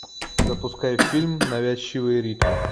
запускай фильм навязчивые ритмы